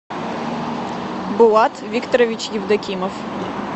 булат викторович евдокимов